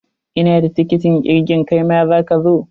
Ina da tiketin irgin, kaima za ka zo?